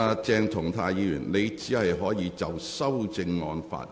鄭松泰議員，你現在只可就修正案發言。